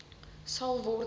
sal word en